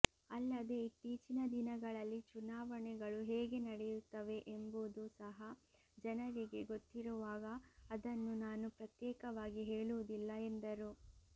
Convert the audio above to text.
ಅಲ್ಲದೆ ಇತ್ತೀಚಿನ ದಿನಗಳಲ್ಲಿ ಚುನಾವಣೆಗಳು ಹೇಗೆ ನಡೆಯುತ್ತವೆ ಎಂಬುದೂ ಸಹ ಜನರಿಗೆ ಗೊತ್ತಿರುವಾಗ ಅದನ್ನು ನಾನು ಪ್ರತ್ಯೇಕವಾಗಿ ಹೇಳುವುದಿಲ್ಲ ಎಂದರು